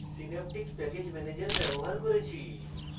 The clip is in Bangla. synaptic প্যাকেজ ম্যানেজার ব্যবহার করেছি